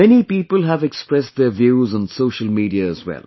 Many people have expressed their views on social media as well